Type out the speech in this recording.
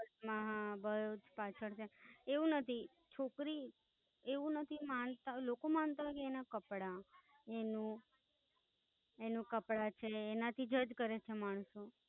માયા બોવ પાછળ છે, એવું નથી છોકરી એવું નથી માણસ લોકો માનતા હોઈ કે એના કપડાં એનું એનું કપડાં છે એના થી જજ કરે છે માણસો